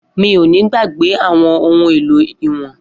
Mi o ni gbagbe awọn ohun elo iwọn